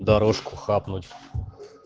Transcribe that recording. дорожку хапнуть